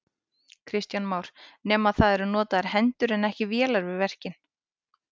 Kristján Már: Nema það eru notaðar hendur en ekki vélar við verkin?